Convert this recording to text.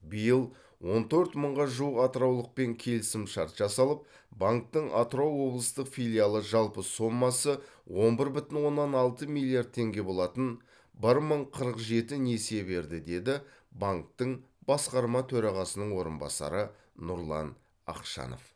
биыл он төрт мыңға жуық атыраулықпен келісімшарт жасалып банктің атырау облыстық филиалы жалпы сомасы он бір бүтін оннан алты миллиард теңге болатын бір мың қырық жеті несие берді деді банктің басқарма төрағасының орынбасары нұрлан ақшанов